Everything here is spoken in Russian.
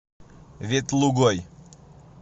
ветлугой